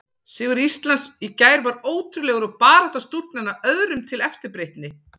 Sigur Íslands í gær var ótrúlegur og barátta stúlknanna öðrum til eftirbreytni.